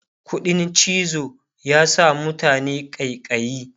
ƙuɗin cizo ya sa mutane ƙaiƙayi